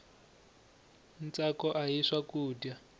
ntsako ahi swakudya